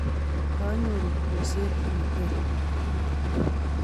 kanyoru kurset ne ter